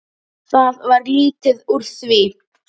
Það varð lítið úr því.